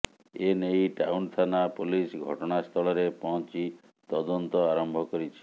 ଏ ନେଇ ଟାଉନ ଥାନା ପୋଲିସ ଘଟଣାସ୍ଥଳରେ ପହଞ୍ଚି ତଦନ୍ତ ଆରମ୍ଭ କରିଛି